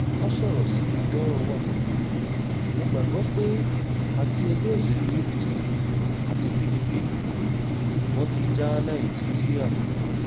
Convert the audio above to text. ká sọ̀rọ̀ síbi tọ́rọ̀ wá mọ gbàgbọ́ pé àti ẹgbẹ́ òsèlú apc àti pdp wọn ti já nàìjíríà kulẹ̀